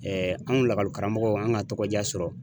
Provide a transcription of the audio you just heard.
anw lakɔli karamɔgɔ an ka tɔgɔ diya sɔrɔ.